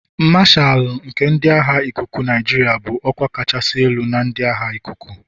Mashalu nke ndị agha ikuku Nigeria bụ ọkwa kachasị elu na ndị agha ikuku.